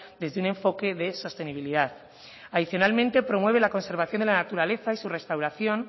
desde un enfoque de sostenibilidad adicionalmente promueve la conservación de la naturaleza y su restauración